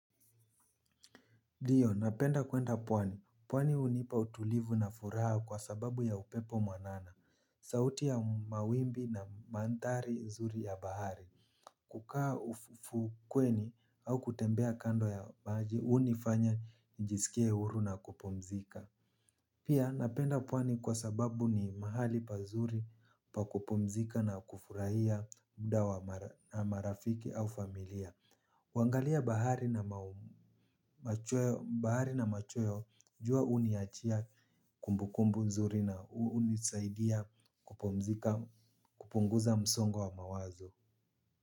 Ndiyo napenda kuenda pwani, pwani hunipa utulivu na furaha kwa sababu ya upepo mwanana sauti ya mawimbi na mantari nzuri ya bahari kukaa ufukweni au kutembea kando ya maji hunifanya nijisikie huru na kupumzika pia napenda pwani kwa sababu ni mahali pazuri pa kupumzika na kufurahia muda wa marafiki au familia huangalia bahari na machweo jua huniachia kumbu kumbu mzuri na hunisaidia kupumzika kupunguza msongo wa mawazo.